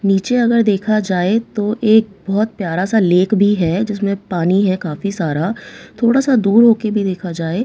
नीचे अगर देखा जाए तो एक बहोत प्यारा सा लेक भी है जिसमें पानी है काफी सारा थोड़ा सा दूर होकर भी देखा जाए--